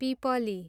पिपली